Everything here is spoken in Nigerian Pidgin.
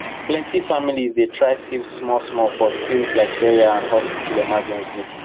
plenty families dey try save smallsmall for things like burial or hospital emergency